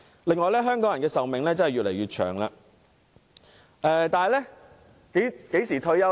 另外，香港人的壽命越來越長，但香港人何時退休呢？